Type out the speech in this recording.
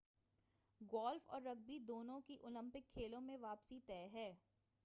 golf اور rugby دونوں کی اولمپک کھیلوں میں واپسی طے ہے